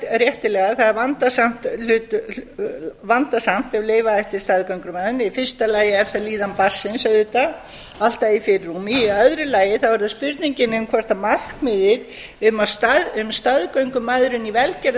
réttilega það er vandasamt ef leyfa ætti staðgöngumæðrun í fyrsta lagi er líðan barnsins auðvitað alltaf í fyrirrúmi í öðru lagi er það spurningin um hvort markmiðið um staðgöngumæðrun í velgerðrskyni